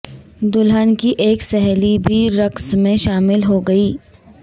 دلھن کی ایک سہیلی بھی رقص میں شامل ہو گئی